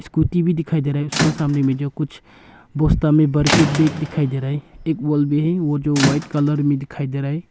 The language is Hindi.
स्कूटी भी दिखाई दे रही उसका सामना में जो कुछ बोस्ता में भर के बैग दिखाई दे रहा है एक वॉल भी है वो जो है व्हाइट कलर में दिखाई दे रहा है